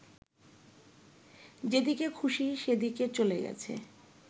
যেদিকে খুশি সেদিকে চলে গেছে